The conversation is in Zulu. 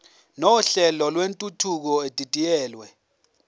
nohlelo lwentuthuko edidiyelwe